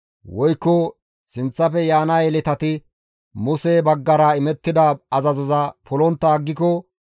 woykko sinththafe yaana yeletati Muse baggara imettida azazoza polontta aggiko,